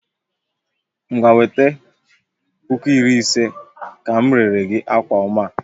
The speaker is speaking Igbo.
Ngwa wete puku iri ise ka m rere gi akwa oma a